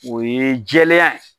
O ye jɛɛlenya.